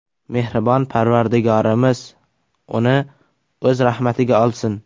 Mehribon Parvardigorimiz uni O‘z rahmatiga olsin!